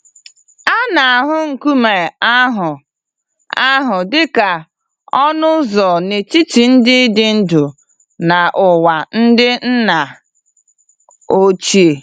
A na-ahụ nkume ahụ ahụ dị ka ọnụ ụzọ n'etiti ndị dị ndụ na ụwa ndị nna ochie.